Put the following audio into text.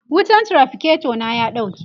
wutan traficator na ya ɗauke